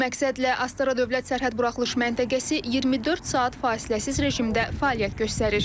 Bu məqsədlə Astara dövlət sərhəd buraxılış məntəqəsi 24 saat fasiləsiz rejimdə fəaliyyət göstərir.